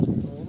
Noldu?